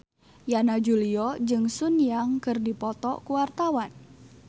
Yana Julio jeung Sun Yang keur dipoto ku wartawan